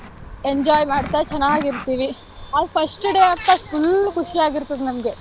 enjoy ಮಾಡ್ತಾ ಚೆನ್ನಾಗ್ ಇರ್ತೀವಿ. ಆ first day ಅಂತೂ full ಖುಷ್ಯಾಗ್ ಇರ್ತಾದ್ ನಮ್ಗೆ.